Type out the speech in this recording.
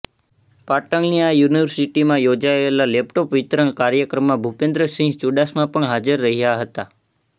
પાટણની આ યુનિવર્સિટીમાં યોજાયેલા લેપટોપ વિતરણ કાર્યક્રમમાં ભૂપેન્દ્રસિંહ ચૂ઼ડાસમા પણ હાજર રહ્યાં હતાં